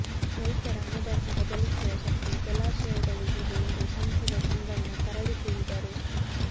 ರೈತರ ಹಣೆಬರಹ ಬದಲಿಸುವ ಶಕ್ತಿ ಜಲಾಶಯಗಳಿಗಿದೆ ಎಂದು ಸಂಸದ ಸಂಗಣ್ಣ ಕರಡಿ ಹೇಳಿದರು